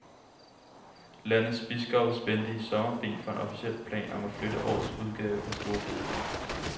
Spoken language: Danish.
Landets biskopper spændte i sommer ben for en officiel plan om at flytte årets udgave af store bededag.